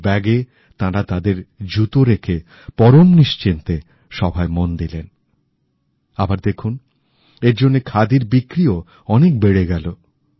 এই ব্যাগে তাঁরা তাদের জুতো রেখে পরম নিশ্চিন্তে সভায় মন দিলেন আবার দেখুন এরজন্যে খাদির বিক্রি ও অনেক বেড়ে গেলো